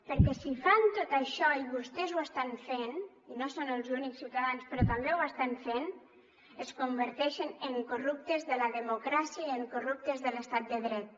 perquè si fan tot això i vostès ho estan fent i no són els únics ciutadans però també ho estan fent es converteixen en corruptes de la democràcia i en corruptes de l’estat de dret